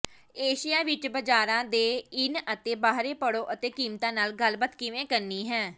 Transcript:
Asia ਵਿਚ ਬਾਜ਼ਾਰਾਂ ਦੇ ਇਨ ਅਤੇ ਬਾਹਰੇ ਪੜ੍ਹੋ ਅਤੇ ਕੀਮਤਾਂ ਨਾਲ ਗੱਲਬਾਤ ਕਿਵੇਂ ਕਰਨੀ ਹੈ